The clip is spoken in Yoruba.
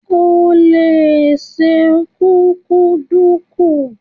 O lè se kúkúǹdùkú.